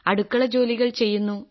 അടുക്കളജോലികൾ ചെയ്യുന്നു